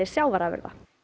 sjávarafurða